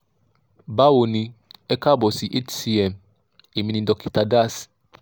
báwo ni e káàbọ̀ sí hcm èmi ni dókítà das